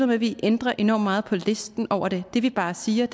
med at vi ændrer enormt meget på listen over dem det vi bare siger